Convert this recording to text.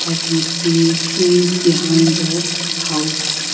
i can see trees behind the house.